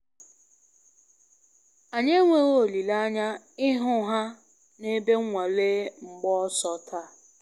Anyị enweghị olile anya ịhụ ha na ebe nwale mgba ọsọ taa